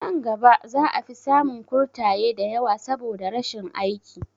Nan gaba za a fi samun kurtaye da yawa saboda rashin aiki